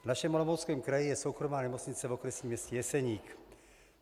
V našem Olomouckém kraji je soukromá nemocnice v okresním městě Jeseník.